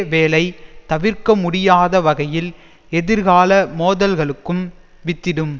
வேளை தவிர்க்க முடியாத வகையில் எதிர்கால மோதல்களுக்கும் வித்திடும்